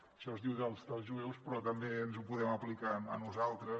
això es diu dels jueus però també ens ho podem aplicar a nosaltres